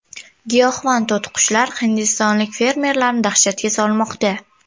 Giyohvand to‘tiqushlar hindistonlik fermerlarni dahshatga solmoqda.